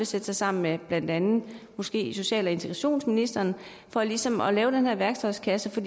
sætte sig sammen med blandt andet måske social og integrationsministeren for ligesom at lave den her værktøjskasse til